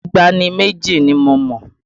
Ìtàn ìgbàanì méjì ni mo mọ̀